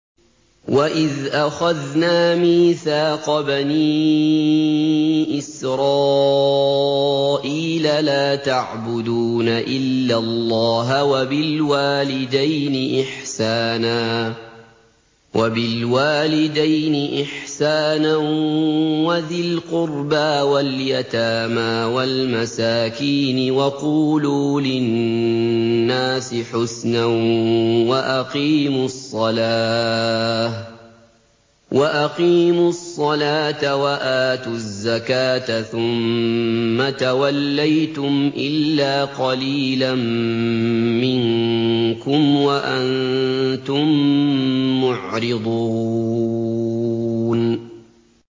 وَإِذْ أَخَذْنَا مِيثَاقَ بَنِي إِسْرَائِيلَ لَا تَعْبُدُونَ إِلَّا اللَّهَ وَبِالْوَالِدَيْنِ إِحْسَانًا وَذِي الْقُرْبَىٰ وَالْيَتَامَىٰ وَالْمَسَاكِينِ وَقُولُوا لِلنَّاسِ حُسْنًا وَأَقِيمُوا الصَّلَاةَ وَآتُوا الزَّكَاةَ ثُمَّ تَوَلَّيْتُمْ إِلَّا قَلِيلًا مِّنكُمْ وَأَنتُم مُّعْرِضُونَ